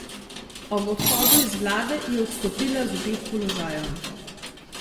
Ob odhodu iz vlade je odstopila z obeh položajev.